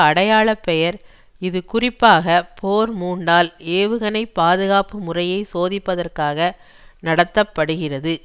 அடையாள பெயர் இது குறிப்பாக போர் மூண்டால் ஏவுகணை பாதுகாப்பு முறையை சோதிப்பதற்காக நடத்த படுகிறது